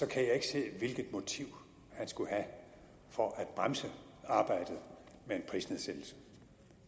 kan jeg ikke se hvilket motiv han skulle have for at bremse arbejdet med en prisnedsættelse